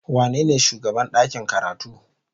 Wanene shugaban ɗakin karatu?